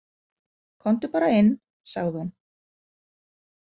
Komdu bara inn, sagði hún.